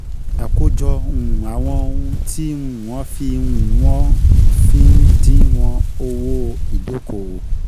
Àkójọ um àwọn ohun tí um wọ́n fi um wọ́n fi ń díwọ̀n owó ìdókòwò.